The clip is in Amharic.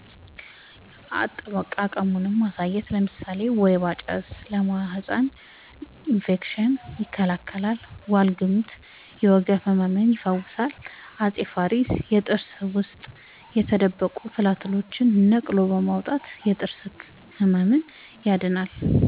አጠቃቀሙን ማሳየት ለምሳሌ ወይባ ጭስ ለማህፀን እፌክሽን ይከላከላል ዋልግምት የወገብ ህመም ይፈውሳል አፄ ፋሪስ የጥርስ ውስጥ የተደበቁ ትላትልን ነቅሎ በማውጣት የጥርስ ህመምን